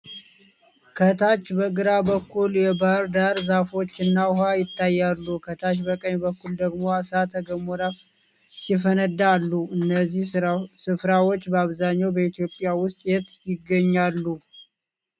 ከታች በግራ በኩል የባሕር ዳር ዛፎችና ውሃ ይታያሉ፤ ከታች በቀኝ በኩል ደግሞ እሳተ ገሞራ ሲፈነዳ አሉ። እነዚህ ሥፍራዎች በአብዛኛው በኢትዮጵያ ውስጥ የት ይገኛሉ?